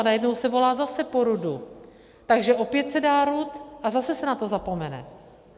A najednou se volá zase po RUDu, takže opět se dá RUD a zase se na to zapomene.